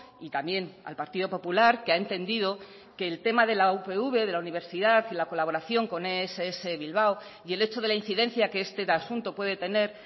y también al partido popular que ha entendido que el tema de la upv de la universidad y la colaboración con ess bilbao y el hecho de la incidencia que este asunto puede tener